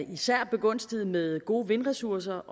især er begunstiget med gode vindressourcer